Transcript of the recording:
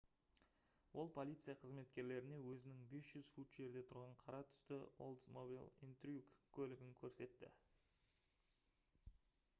ол полиция қызметкерлеріне өзінің 500 фут жерде тұрған қара түсті oldsmobile intrigue көлігін көрсетті